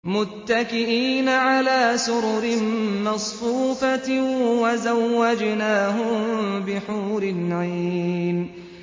مُتَّكِئِينَ عَلَىٰ سُرُرٍ مَّصْفُوفَةٍ ۖ وَزَوَّجْنَاهُم بِحُورٍ عِينٍ